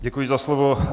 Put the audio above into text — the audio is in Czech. Děkuji za slovo.